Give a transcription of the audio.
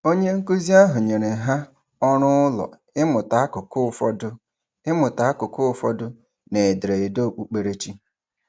Onyenkụzi ahụ nyere ha ọrụụlọ ịmụta akụkụ ụfọdụ ịmụta akụkụ ụfọdụ n'ederede okpukperechi.